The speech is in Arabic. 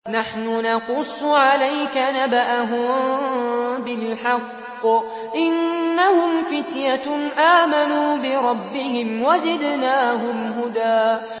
نَّحْنُ نَقُصُّ عَلَيْكَ نَبَأَهُم بِالْحَقِّ ۚ إِنَّهُمْ فِتْيَةٌ آمَنُوا بِرَبِّهِمْ وَزِدْنَاهُمْ هُدًى